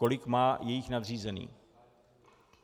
Kolik má jejich nadřízený?